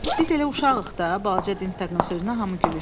Biz elə uşağıq da, balaca Dinstaqın sözünə hamı gülüşdü.